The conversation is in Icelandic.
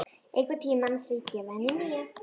Einhvern tímann ætla ég að gefa henni nýja.